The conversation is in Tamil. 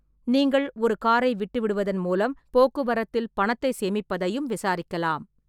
நீங்கள் ஒரு காரை விட்டுவிடுவதன் மூலம் போக்குவரத்தில் பணத்தை சேமிப்பதையும் விசாரிக்கலாம்.